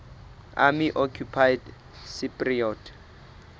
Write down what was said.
army occupied cypriot